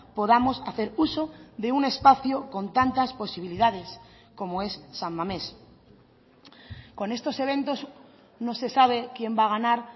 podamos hacer uso de un espacio con tantas posibilidades como es san mamés con estos eventos no se sabe quién va a ganar